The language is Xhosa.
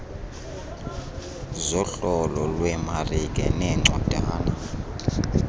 zohlolo lwemarike neencwadana